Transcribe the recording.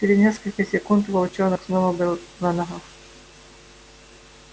через несколько секунд волчонок снова был на ногах